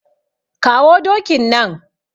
Kawo dokin nan.